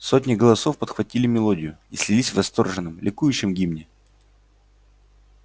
сотни голосов подхватили мелодию и слились в восторженном ликующем гимне